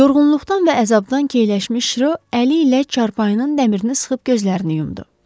Yorğunluqdan və əzabdan keyləşmiş Rö əli ilə çarpayının dəmirini sıxıb gözlərini yumdu.